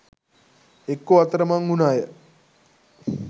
එක්කෝ අතරමං උන අය